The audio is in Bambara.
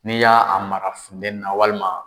N'i y'a mara futenni na walima